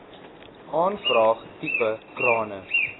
aanvraag tipe krane